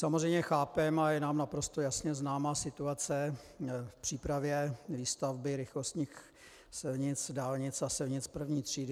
Samozřejmě chápeme a je nám naprosto jasně známá situace v přípravě výstavby rychlostních silnic, dálnic a silnic první třídy.